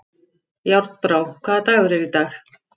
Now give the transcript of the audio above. Járnbrá, hvaða dagur er í dag?